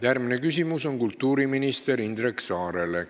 Järgmine küsimus on kultuuriminister Indrek Saarele.